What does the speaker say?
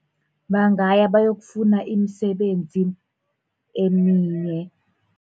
Bangaya bayokufuna imisebenzi eminye.